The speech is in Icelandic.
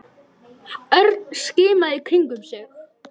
Örn skimaði í kringum sig.